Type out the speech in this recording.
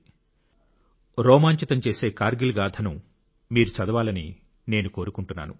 కార్గిల్ రోమాంచితం చేసె కార్గిల్ గాథను మీరు చదవాలని నేను కోరుకుంటున్నాను